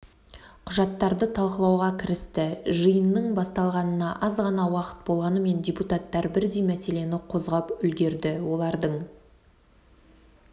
құжаттарды талқылауға кірісті жиынның басталғанына аз ғана уақыт болғанымен депутаттар бірдей мәселені қозғап үлгерді олардың